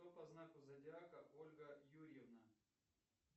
кто по знаку зодиака ольга юрьевна